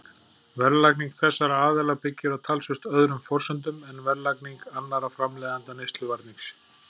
Verðlagning þessara aðila byggir á talsvert öðrum forsendum en verðlagning annarra framleiðenda neysluvarnings.